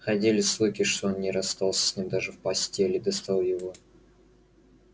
ходили слухи что он не расстался с ним даже в постели и доставал его